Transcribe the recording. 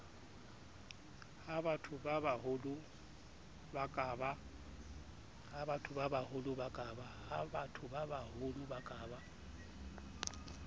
ha bathobabaholo ba ka ba